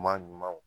Ɲuman ɲumanw